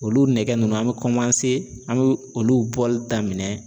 Olu nɛgɛ ninnu an bɛ an bɛ olu bɔli daminɛ